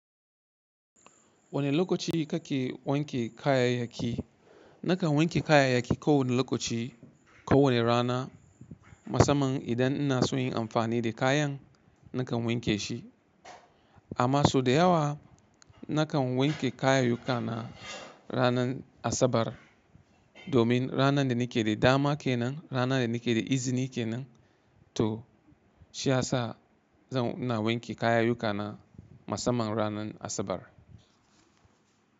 Wane lokaci kake wanke kayayyaki? Nakan wanke kayayyaki kowane lokaci, kowane rana. Masamman idan ina soyin amfani da kayan nakan wanke shi. Amma sau da yawa nakan wanke kayayyukana ranar Asabar. Domin ranar da nake da dama kenan, ranar da nake da izini kenan. To shi ya sa zan ina wanke kayayyukana masamman ranar Asabar.